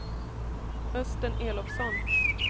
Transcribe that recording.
Östen Elofsson